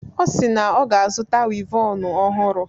Ọ si na ọ ga-azụta wivọnu ọhụrụ.